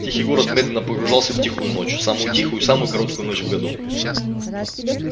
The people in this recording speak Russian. тихий город медленно погружался в тихую ночь самую тихую и самую короткую ночь в году